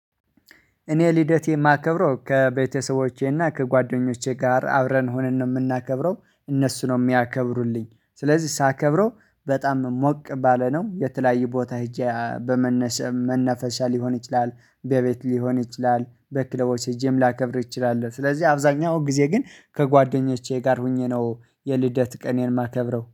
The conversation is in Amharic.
እኔ ልደቴ የማከብረው ከቤተሰቦቼና ከጓደኞቼ ጋር አብረን ሆንን ነው የምናከብረው። እነሱ ነው የሚያከብሩልኝ ስለዚህ ሳከብረው በጣም ሞቅ ባለ ነው የተለያየ ቦታ ሄጄ በመነስ መነፈሻ ሊሆን ይችላል። በቤት ሊሆን ይችላል በክለቦች ሄጄም ላከብር እችላለሁ። ስለዚህ አብዛኛው ጊዜ ግን ከጓደኞቼ ጋር ሆኜ ነው የልደት ቀኔን የማከብረው